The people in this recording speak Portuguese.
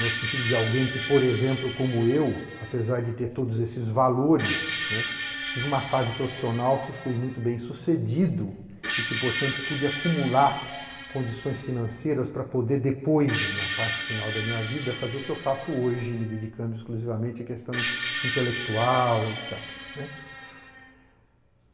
no sentido de alguém que, por exemplo, como eu, apesar de ter todos esses valores, né, tive uma fase profissional que fui muito bem sucedido e que, portanto, pude acumular condições financeiras para poder depois, na parte final da minha vida, fazer o que eu faço hoje, me dedicando exclusivamente à questão intelectual, et cetera né.